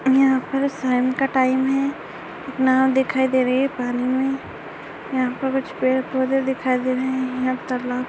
यहाँ पर शाम का टाइम है। एक नाव दिखाई दे रही है पानी में यहाँ पर कुछ पेड़ पौधे दिखाई दे रहे है। यहाँ तालाब--